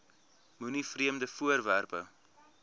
moenie vreemde voorwerpe